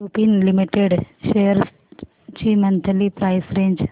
Lupin Limited shares ची monthly price range